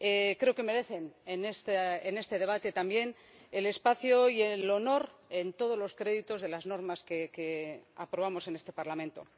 Creo que merecen en este debate también el espacio y el honor en todos los créditos de las normas que aprobamos en este Parlamento.